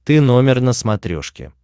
ты номер на смотрешке